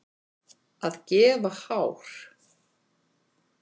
Að gefa hár